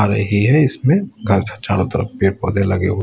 ही है इसमें चारों तरफ पेड़ पौधे लगे हुए --